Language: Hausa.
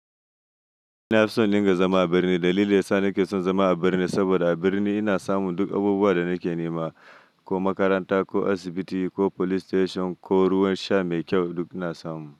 Ina so in diga zama a birni. Dalilin sa nake son zama a birni saboda a birni ina samun duk abubuwan da nake nema, ko makaranta, ko asibiti, ko police station ko ruwan sha mai kyau duk ina samu.